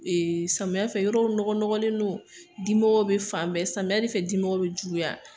samiyɛn fɛ yɔrɔw nɔgɔ nɔgɔlen do dimɔgɔw bɛ fan bɛɛ samiyɛn de fɛ dimɔgɔw bɛ juguya.